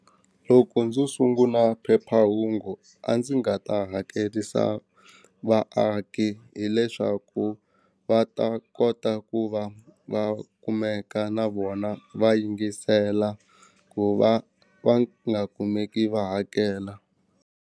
Loko ndzo sungula phephahungu a ndzi nga ta hakerisa vaaki hileswaku va ta kota ku va va kumeka na vona va yingisela ku va va nga kumeki va hakela.